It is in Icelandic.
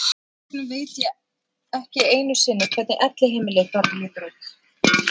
Þess vegna veit ég ekki einu sinni hvernig elliheimilið þar lítur út.